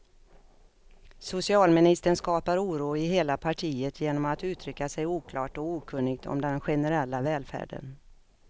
Socialministern skapar oro i hela partiet genom att uttrycka sig oklart och okunnigt om den generella välfärden.